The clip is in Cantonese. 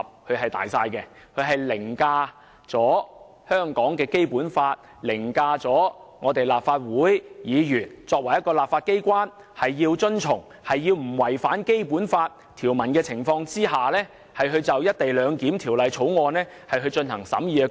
《決定》既凌駕於香港的《基本法》之上，也凌駕於立法會作為立法機關須在不違反《基本法》的情況下審議《條例草案》的工作之上。